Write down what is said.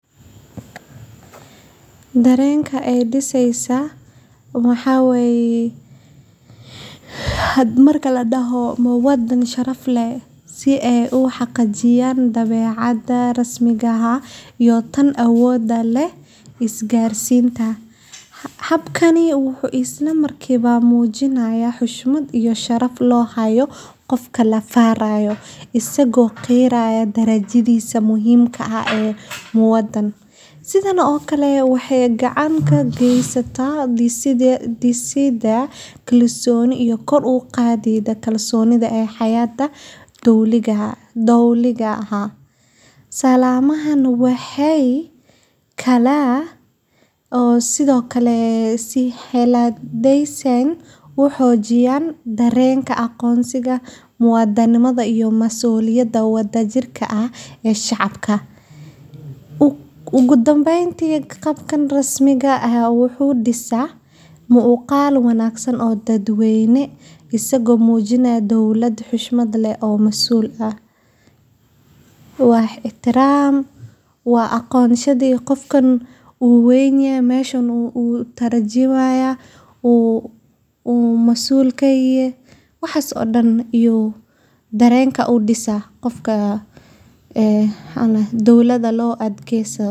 Darenka ay disesa waxa weye waa xaalad nafsi ah oo qofka ku beerta murugo, niyad-jab, xanuun qalbiyeed, iyo mararka qaar kalinimo, taasoo ka dhalata marka qof uu dareemo in si ula kac ah ama si lama filaan ah loogu gefay, loo khiyaamay, ama la dhaawacay shucuurtiisa. Marka la diso, dareenkaas wuxuu noqon karaa mid qoto dheer oo dhaawaca xusuustiisa muddada dheer kaga haro, gaar ahaan haddii uu qofka dhowaane ahaa ama la isku halleynayay. Dadka qaar waxay dareemaan xanaaq, ciil, ama kalsooni-darro, halka kuwa kalena